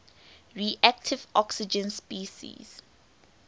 reactive oxygen species